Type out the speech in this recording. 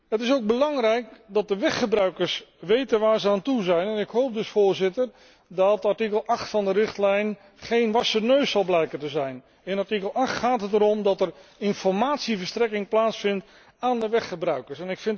Het is ook belangrijk dat de weggebruikers weten waar ze aan toe zijn en ik hoop dus, Voorzitter, dat artikel 8 van de richtlijn geen wassen neus zal blijken te zijn. In artikel 8 gaat het om informatieverstrekking aan de weggebruikers.